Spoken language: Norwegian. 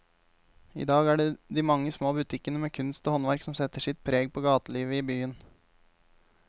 I dag er det de mange små butikkene med kunst og håndverk som setter sitt preg på gatelivet i byen.